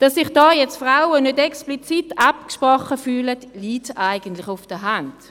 Dass sich dabei Frauen nicht explizit angesprochen fühlen, liegt eigentlich auf der Hand.